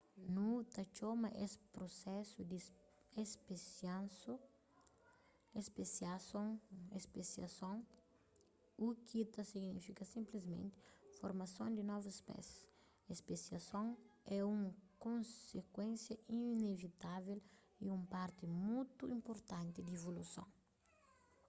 nu ta txoma es prusesu di spesiason u ki ta signifika sinplismenti formason di novus spésis spesiason é un konsikuénsia inevitavel y un parti mutu inpurtanti di evoluson